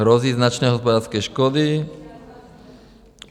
Hrozí značné hospodářské škody?